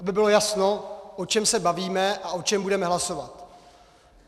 Aby bylo jasno, o čem se bavíme a o čem budeme hlasovat.